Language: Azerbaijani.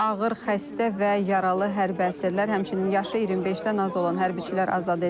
Ağır xəstə və yaralı hərbi əsirlər, həmçinin yaşı 25-dən az olan hərbiçilər azad edilib.